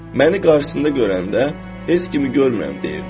Məni qarşısında görəndə, heç kimi görmürəm deyirdi.